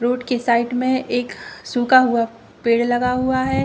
Road के side में एक सूखा हुआ पेड़ लगा हुआ है।